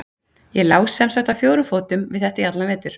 Ég lá sem sagt á fjórum fótum við þetta í allan vetur.